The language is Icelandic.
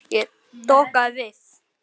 Ég dokaði við.